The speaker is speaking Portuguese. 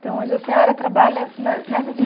Então, hoje a senhora trabalha ne nessa